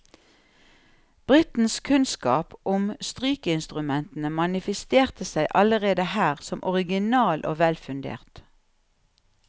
Brittens kunnskap om strykeinstrumentene manifesterte seg allerede her som original og velfundert.